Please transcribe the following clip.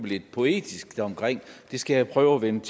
lidt poetisk det skal jeg prøve at vende